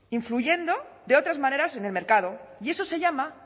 influyendo de otras maneras en el mercado y eso se llama